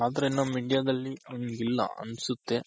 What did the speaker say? ಆದ್ರೆ ನಮ್ India ದಲ್ಲಿ ಹಂಗಿಲ್ಲ ಅನ್ಸುತ್ತೆ